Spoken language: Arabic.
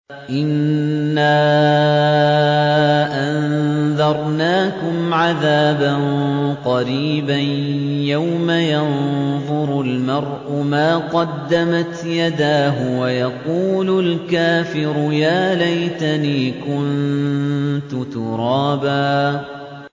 إِنَّا أَنذَرْنَاكُمْ عَذَابًا قَرِيبًا يَوْمَ يَنظُرُ الْمَرْءُ مَا قَدَّمَتْ يَدَاهُ وَيَقُولُ الْكَافِرُ يَا لَيْتَنِي كُنتُ تُرَابًا